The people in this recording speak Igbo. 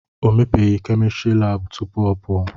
O mepeghị kemịstrị laabụ tupu ọ pụọ.